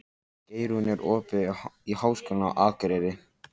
Geirrún, er opið í Háskólanum á Akureyri?